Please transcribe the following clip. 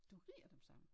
Du rier dem sammen?